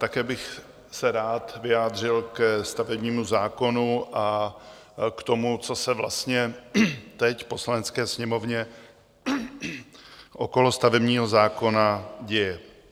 Také bych se rád vyjádřil ke stavebnímu zákonu a k tomu, co se vlastně teď v Poslanecké sněmovně okolo stavebního zákona děje.